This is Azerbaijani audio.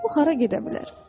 O hara gedə bilər?